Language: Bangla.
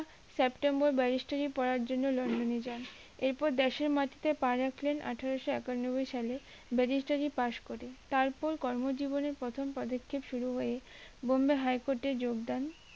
সেপ্টেম্বর barrister রি পড়ার জন্য লন্ডনে যান এরপর দেশের মাটিতে পা রাখলেন আঠারোশো আটানব্বই সালে barrister রি পাস করে তারপর কর্ম জীবনে প্রথম পদক্ষেপ শুরু হয় বোম্বে high court এ যোগদান